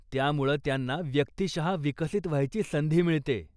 त्यामुळं त्यांना व्यक्तिशः विकसित व्हायची संधी मिळते.